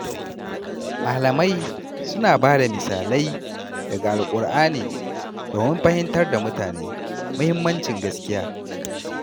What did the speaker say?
Malamai suna bada misalai daga Alƙur’ani domin fahimtar da mutane mahimmancin gaskiya.